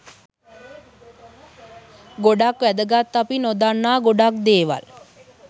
ගොඩක් වැදගත් අපි නොදන්නා ගොඩක් දේවල්